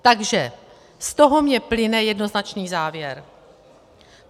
Takže z toho mně plyne jednoznačný závěr.